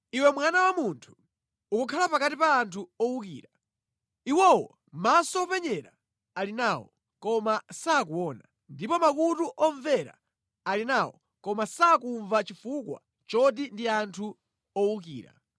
“Iwe mwana wa munthu, ukukhala pakati pa anthu owukira, iwowo maso openyera ali nawo, koma sakuona ndipo makutu omvera ali nawo, koma sakumva chifukwa choti ndi anthu owukira.